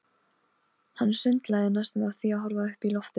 Hann sundlaði næstum af því að horfa upp í loftið.